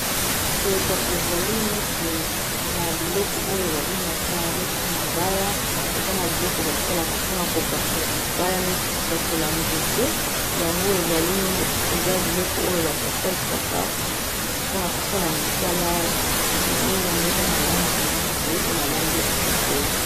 Boye kasi, ezali neti na biloko oyo ba bengaka neti mabaya. Eza na biloko ba salaka mpona ko pasola mabaya. Neti ko pasola nzete, yango eza biloko oyo bato ba salisaka mpona kosala misala ebele. Yango eza na langi ya mbwe, pe na langi ya chokola.